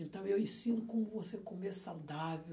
Então, eu ensino como você comer saudável.